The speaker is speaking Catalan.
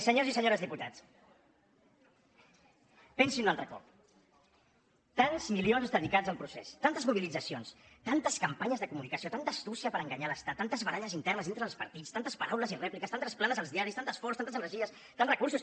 senyors i senyores diputats pensin ho un altre cop tants milions dedicats al procés tantes mobilitzacions tantes campanyes de comunicació tanta astúcia per enganyar l’estat tantes baralles internes entre els partits tantes paraules i rèpliques tantes planes als diaris tant esforç tantes energies tants recursos